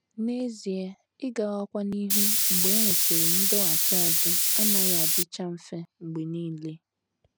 N’ezie, ịgawakwa n’ihu mgbe e nwesịrị ndọghachi azụ anaghị adịcha mfe mgbe nile.